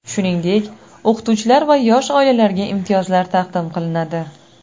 Shuningdek, o‘qituvchilar va yosh oilalarga imtiyozlar taqdim qilinadi.